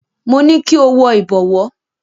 Mo ní kí o wọ ìbọ̀wọ́.